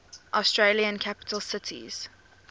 australian capital cities